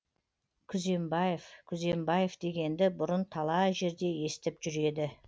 күзембаев күзембаев дегенді бұрын талай жерде естіп жүр еді